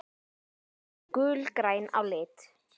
Þau eru gulgræn á lit.